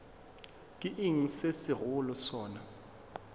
ke eng se segolo sona